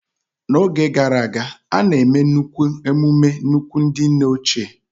N'oge gara aga, a na-eme nnukwu emume nnukwu ndị nne ochie.